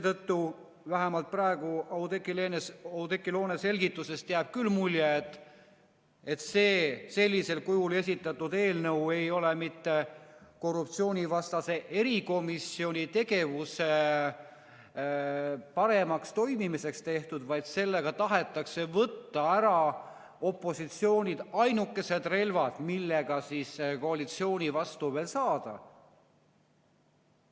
Aga vähemalt praegu jäi Oudekki Loone selgitustest küll mulje, et sellisel kujul esitatud eelnõu ei ole mõeldud mitte korruptsioonivastase erikomisjoni tegevuse paremaks toimimiseks, vaid sellega tahetakse opositsioonilt võtta ära ainukesed relvad, millega veel võiks koalitsiooni vastu saada.